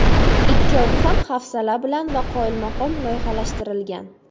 Ikkovi ham hafsala bilan va qoyilmaqom loyihalashtirilgan.